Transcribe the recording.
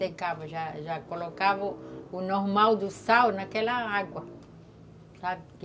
Secava, já já colocava o normal do sal naquela água, sabe?